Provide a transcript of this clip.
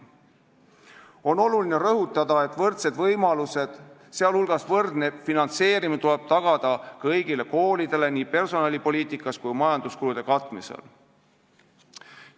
On oluline rõhutada, et võrdsed võimalused, sh võrdne finantseerimine tuleb tagada kõigile koolidele nii personalipoliitikas kui ka majanduskulude katmisel.